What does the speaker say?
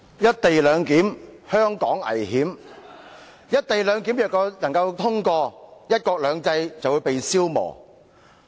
"'一地兩檢'，香港危險"，如"一地兩檢"獲通過，"一國兩制"便會被消磨掉。